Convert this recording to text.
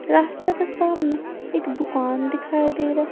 रास्ता के सामने एक दुकान दिखाई दे रहा है।